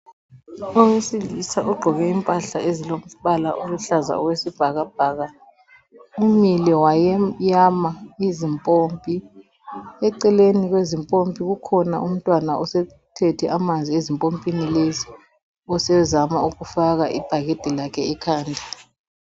Owesilisa ogqoke impahla ezilombala oluhlaza okwesibhakabhaka umile wayeyama izimpompi, eceleni kwezimpompi ukhona umntwana osethethe amanzi ezimpompini lezi osezama kufaka ibhakede lakhe ekhanda.